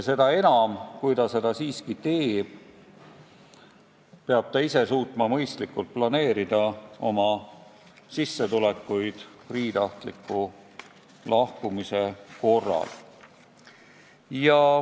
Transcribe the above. Ja kui ta seda siiski teeb, siis peab ta suutma mõistlikult planeerida oma sissetulekuid priitahtliku lahkumise korral.